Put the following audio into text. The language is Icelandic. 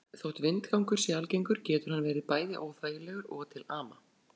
Þótt vindgangur sé algengur getur hann verið bæði óþægilegur og til ama.